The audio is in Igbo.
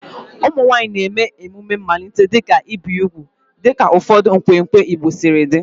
Ụmụ nwanyị na-eme emume mmalite, dịka ibi úgwù dịka ụfọdụ nkwenkwe Igbo siri dị.